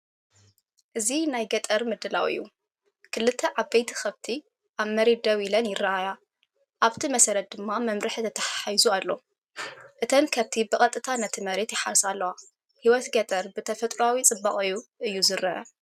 እዚ ናይ ገጠር ምድላው እዩ። ክልተ ዓበይቲ ከብቲ ኣብ መሬት ደው ኢለን ይረኣያ፡ ኣብቲ መሰረት ድማ መምርሒ ተተሓሒዙ ኣሎ። እተን ከብቲ ብቐጥታ ነቲ መሬት ይሓርሳ ኣለዋ። ህይወት ገጠር ብተፈጥሮኣዊ ጽባቐኡ እዩ ዝረአ።